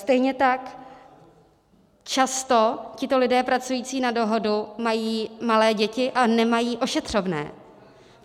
Stejně tak často tito lidé pracující na dohodu mají malé děti a nemají ošetřovné.